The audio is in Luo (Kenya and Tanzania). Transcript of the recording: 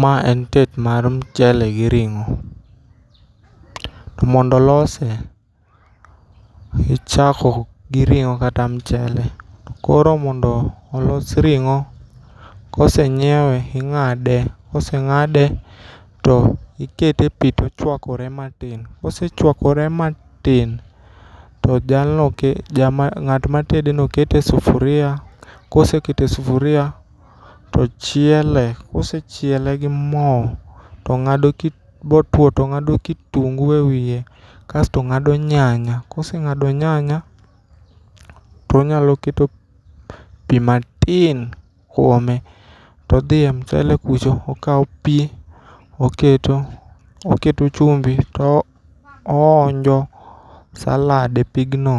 Mae en tet mar michele gi ring'o, to mondo olose, ichako gi rong'o kata michele, koro mondo olos ringo' kosenyiewe ing'ade , kose ng'ade to ikete e pi tochwakore matin, kosechwakore matin to jalno ng'at ma tedeno kete e sufuria, kosekete e sufuria to chiele kosechiele gi mo motuo to ng'ado kitungu e wiye kasto ng'do nyanya kasto ka ose ng'ado nyanya to onyalo keto pi matin kuome, to odhiye mchele kucho to okawo pi to oketo oketo chumbi to ohonjo salad e pigno